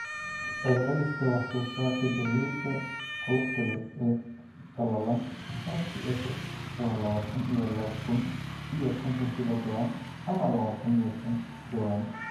Celceliska wax-soo-saarka gallayda qolofka leh ee qallalan halkii acre waa lawatan iyo laba kun iyo konton kilogaram ama lawatan iyo shan jawaan.